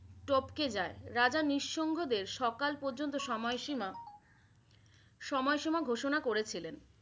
টপকে যায় । রাজা নিষঙ্গদের সকাল পর্যন্ত সময়সীমা সময়সীমা ঘোষণা করেছিলেন।